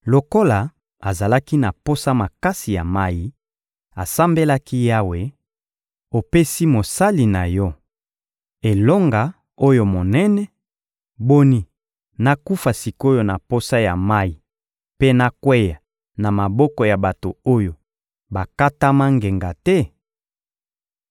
Lokola azalaki na posa makasi ya mayi, asambelaki Yawe: «Opesi mosali na Yo elonga oyo monene; boni, nakufa sik’oyo na posa ya mayi mpe nakweya na maboko ya bato oyo bakatama ngenga te?»